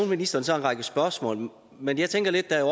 ministeren så en række spørgsmål men jeg tænker lidt at